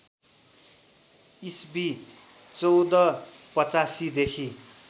इस्वी १४८५ देखि